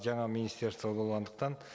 жаңа министерство болғандықтан